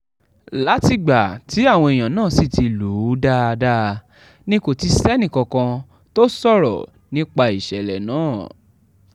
látìgbà táwọn èèyàn náà sì ti lù ú dáadáa ni kò ti sẹ́nìkankan tó sọ̀rọ̀ nípa ìṣẹ̀lẹ̀ náà